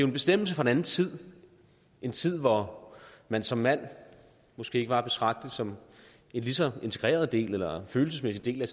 en bestemmelse fra en anden tid en tid hvor man som mand måske ikke var at betragte som en lige så integreret del eller følelsesmæssig del af